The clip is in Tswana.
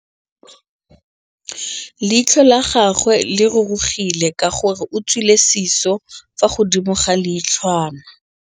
Leitlhô la gagwe le rurugile ka gore o tswile sisô fa godimo ga leitlhwana.